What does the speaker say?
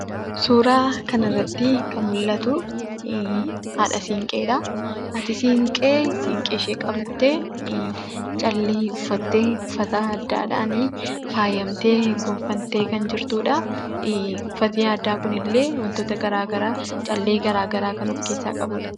Suuraa kanarratti kan mul'atuu, haadha siinqeedhaa. Haati siinqee siinqeeshe qabattee callee uffattee, uffata aadaadhani faayyamtee, gonfamtee kan jirtudhaa. Uffanni aadaa kunillee wantoota garagaraa callee garagaraa kan of keessaa qabudha.